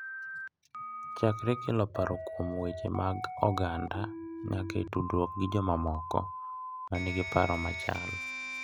Chakre kelo paro kuom weche mag oganda nyaka e tudruokgi gi jomamoko ma nigi paro machal.